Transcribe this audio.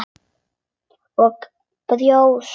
Og brjóst.